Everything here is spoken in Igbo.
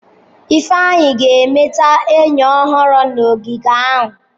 Ifeanyi ga-emeta enyi ọhụrụ na ogige ahụ.